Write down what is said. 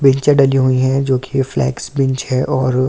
wheelchair डली हुई हैं जोकि फ्लेक्स बीच है और--